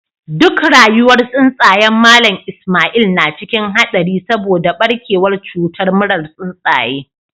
Duk rayuwar tsuntsayen Mallam Ismail na cikin hadari saboda barkewar cutar murar tsuntsaye.